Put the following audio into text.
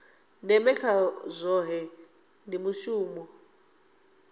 ndeme kha zwohe ndi mushumo